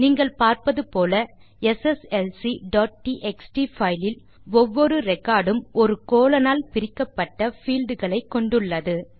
நீங்கள் பார்ப்பது போல sslcடிஎக்ஸ்டி பைல் இல் ஒவ்வொரு ரெக்கார்ட் உம் ஒரு கோலோன் ஆல் பிரிக்கப்பட்ட பீல்ட் களை கொண்டு உள்ளது